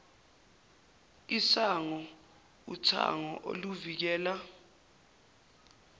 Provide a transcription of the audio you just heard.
isango uthango oluvikela